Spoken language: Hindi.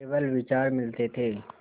केवल विचार मिलते थे